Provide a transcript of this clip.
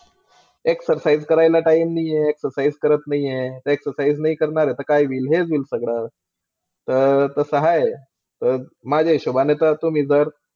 exercise करायला time नाहीये Exercise करत नाही आहे. EXERCISE नाही करणार ता काय होईल हेच होईल सगड तर तसं आहे. तर माझ्या हिशोबाने तर, तुमी मी जर.